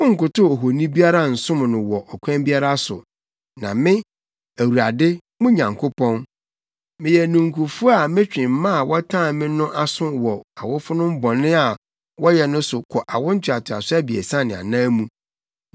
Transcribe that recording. Monnkotow ohoni biara nsom no wɔ ɔkwan biara so, na me, Awurade, mo Nyankopɔn, meyɛ ninkufo a metwe mma a wɔtan me no aso wɔ awofonom bɔne a wɔyɛ no ho kɔ awo ntoatoaso abiɛsa ne anan mu,